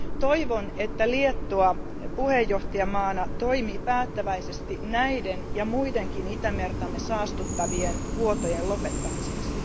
Toivon, että Liettua puheenjohtajavaltiona toimii päättäväisesti näiden ja muidenkin Itämertamme saastuttavien vuotojen lopettamiseksi.